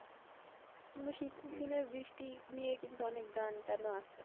কিন্তু শীতের দিনে বৃষ্টি নিয়ে কিন্তু অনেক গান টান ও আছে।